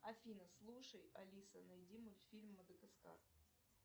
афина слушай алиса найди мультфильм мадагаскар